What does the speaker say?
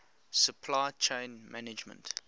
supply chain management